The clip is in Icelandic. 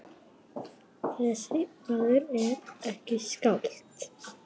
Þessi maður er ekki skáld.